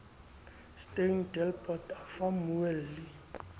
steyn delport a fa mmueli